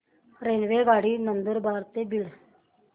रेल्वेगाडी नंदुरबार ते बीड